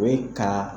O ye ka